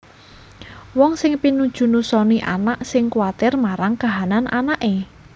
Wong sing pinuju nusoni anak sing kuwatir marang kahanan anaké